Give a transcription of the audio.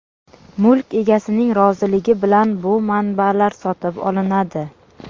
Mulk egasining roziligi bilan bu manbalar sotib olinadi.